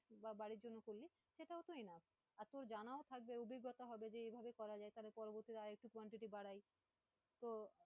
বা বাড়ির জন্যে করলে সেটাও তো enough আর তোর জানাও থাকবে অভিজ্ঞতা হবে, যে এইভাবে করা যায় তাহলে পরবর্তী তো